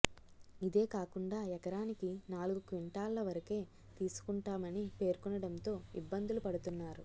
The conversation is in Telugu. ఇదేకాకుండా ఎకరానికి నాలుగు క్వింటాళ్ల వరకే తీసుకుంటామని పేర్కొనడంతో ఇబ్బందులు పడుతున్నారు